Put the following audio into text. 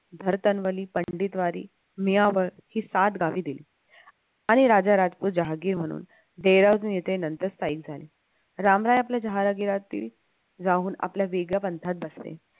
पंडितवारी मियाबळ ही सात गावे दिली आणि राजा राजपूत जहांगीर म्हणून देहरादून येथे नंतर स्थायिक झाले रामराय आपल्या जहागीरातील जाऊन आपल्या वेगळ्या पंथात बसले.